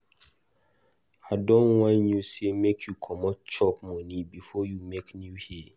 I don warn you sey make you comot chop money before you make new hair.